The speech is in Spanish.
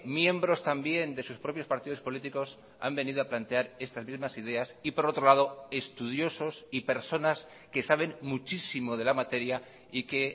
miembros también de sus propios partidos políticos han venido a plantear estas mismas ideas y por otro lado estudiosos y personas que saben muchísimo de la materia y que